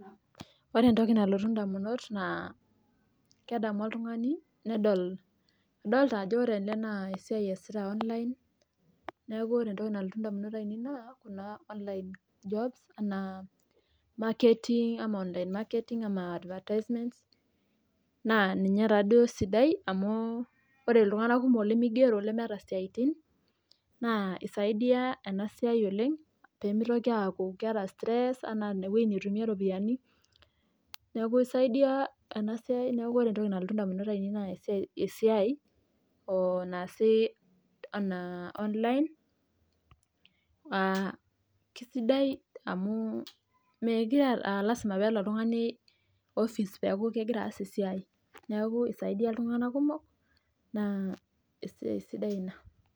Ore entoki nalotu naa ena siai en online jobs e marketing, advertising naa ninye taaduo sidai amu ore iltunganak kumok limigiero lemeeta isiaitin naa eret ena siai oleng Sidai amu melasima peelo oltungani ekopisi peas esiai neaku is isaidia iltunganak kumok naa esiai sidai ina